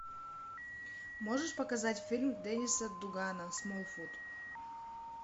можешь показать фильм денниса дугана смолфут